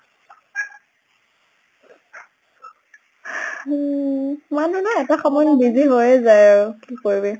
উম মানিহ ন এটা সময়ত busy হৈয়ে যায় আৰু, কি কৰিবি।